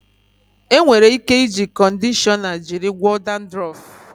E nwere ike iji kọndishọna jiri gwọọ dandrọf.